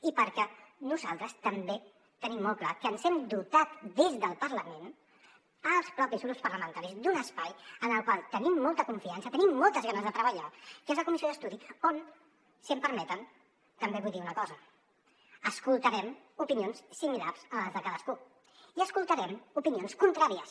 i perquè nosaltres també tenim molt clar que ens hem dotat des del parlament els propis grups parlamentaris d’un espai en el qual tenim molta confiança tenim moltes ganes de treballar que és la comissió d’estudi on si m’ho permeten també vull dir una cosa escoltarem opinions similars a les de cadascú i escoltarem opinions contràries